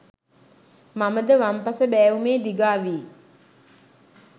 මම ද වම් පස බෑවුමේ දිගා වී